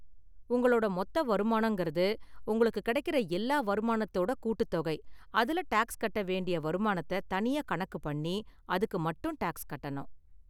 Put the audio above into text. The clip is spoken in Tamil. உங்களோட மொத்த வருமானங்கறது, உங்களுக்கு கிடைக்கற எல்லா வருமானத்தோட கூட்டுத்தொகை, அதுல டாக்ஸ் கட்ட வேண்டிய வருமானத்தை தனியா கணக்கு பண்ணி அதுக்கு மட்டும் டாக்ஸ் கட்டணும்.